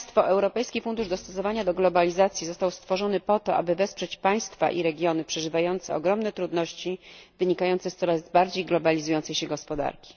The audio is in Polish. Europejski Fundusz Dostosowania do Globalizacji został stworzony po to, aby wesprzeć państwa i regiony przeżywające ogromne trudności wynikające z coraz bardziej globalizującej się gospodarki.